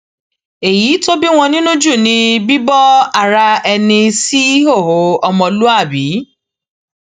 èyí tó bí wọn nínú jù ni bíbo ara ẹni síhòòhò ọmọlúàbí